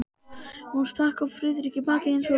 Hún stakk Friðrik í bakið eins og rýtingur.